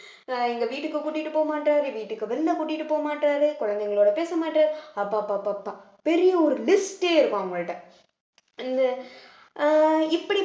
அஹ் எங்க வீட்டுக்கு கூட்டிட்டு போக மாட்டாரு வீட்டுக்கு விருந்த கூட்டிட்டு போக மாட்டாரு குழந்தைங்களோட பேச மாட்டாரு அப்ப அப்ப அப்ப அப்ப பெரிய ஒரு list ஏ இருக்கும் அவங்கள்ட்ட அஹ் இப்படி